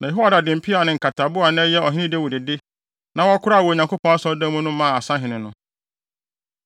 Na Yehoiada de mpeaw ne nkatabo a na ɛyɛ Ɔhene Dawid de, na wɔkoraa wɔ Onyankopɔn Asɔredan mu no maa asahene no.